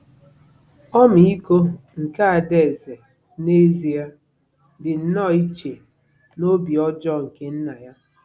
Ọmịiko nke ada eze n'ezie dị nnọọ iche na obi ọjọọ nke nna ya.